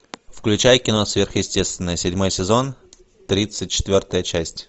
включай кино сверхъестественное седьмой сезон тридцать четвертая часть